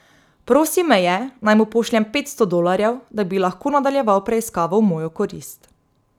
Prosil me je, naj mu pošljem petsto dolarjev, da bi lahko nadaljeval preiskavo v mojo korist.